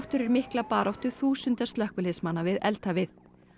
fyrir mikla baráttu þúsunda slökkviliðsmanna við